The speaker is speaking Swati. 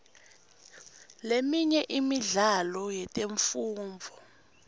leminye imidlalo yetemfundvo